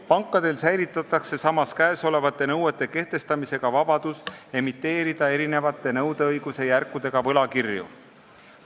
Samas säilib pankadel käesolevate nõuete kehtestamisel vabadus emiteerida erinevate nõudeõiguse järkudega võlakirju.